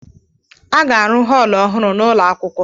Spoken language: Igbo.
A ga-arụ họọlụ ọhụrụ n'ụlọ akwụkwọ.